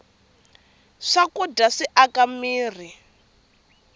swakudya swi aka mirhi